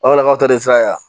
Walakaw ta de filɛ yan